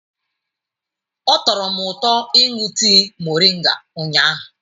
Ọ tọrọ m ụtọ ịṅụ tii moringa ụnyahụ.